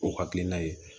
O hakilina ye